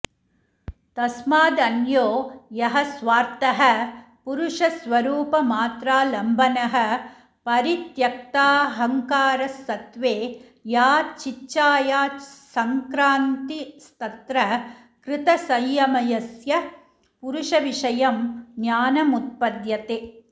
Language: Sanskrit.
तस्मादन्यो यः स्वार्थः पुरुषस्वरूपमात्रालम्बनः परित्यक्ताहंकारसत्त्वे या चिच्छायासंक्रान्तिस्तत्र कृतसंयमस्य पुरुषविषयं ज्ञानमुत्पद्यते